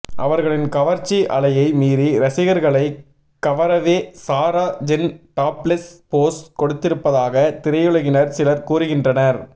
அவர்களின் கவர்ச்சி அலையை மீறி ரசிகர்களை கவரவே சாரா ஜென் டாப்லெஸ் போஸ் கொடுத்திருப்பதாக திரையுலகினர் சிலர் கூறுகின்றனர்